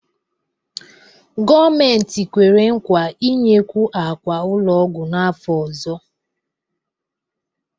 Gọọmentị kwere nkwa inyekwu ákwà ụlọ ọgwụ n'afọ ọzọ.